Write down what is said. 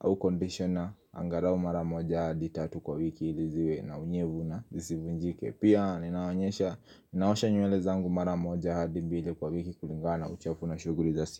au kondishona Angarau mara moja adi tatu kwa wiki ili ziwe na unyevu na zisivunjike. Pia ninaonyesha naosha nywele zangu mara moja adi mbili kwa wiki kulingana na uchafu na shuguli zasi.